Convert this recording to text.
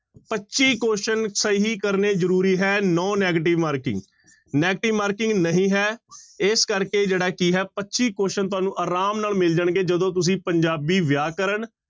ਪੱਚੀ question ਸਹੀ ਕਰਨੇ ਜ਼ਰੂਰੀ ਹੈ no negative marking, negative marking ਨਹੀਂ ਹੈ ਇਸ ਕਰਕੇ ਜਿਹੜਾ ਕੀ ਹੈ ਪੱਚੀ question ਤੁਹਾਨੂੰ ਆਰਾਮ ਨਾਲ ਮਿਲ ਜਾਣਗੇ ਜਦੋਂ ਤੁਸੀਂ ਪੰਜਾਬੀ ਵਿਆਕਰਨ